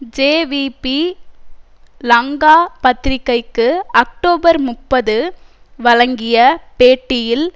JVP Lanka பத்திரிகைக்கு October முப்பது வழங்கிய பேட்டியில்